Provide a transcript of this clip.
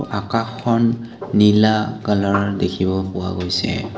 আকাশখন নীলা কালাৰ ৰ দেখিব পোৱা গৈছে।